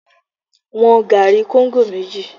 Wọn gari kóńgò méjì!